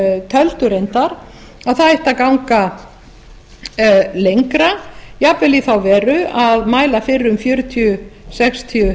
töldu reyndar að það ætti að ganga lengra jafnvel í þá veru að mæla fyrir um fjörutíu sextíu